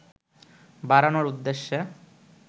বাড়ানোর উদ্দেশ্যে